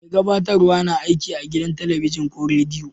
Mai gabatarwa na aiki a gidan telibijin ko rediyo.